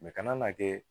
ka na kɛ